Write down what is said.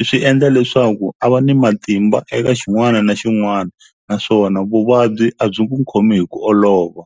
i swi endla leswaku a va ni matimba eka xin'wana na xin'wana naswona vuvabyi a byi ku khomi hi ku olova.